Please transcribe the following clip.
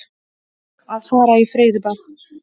Að fara í freyðibað.